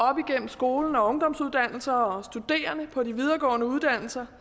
op igennem skolen og ungdomsuddannelser og studerende på de videregående uddannelser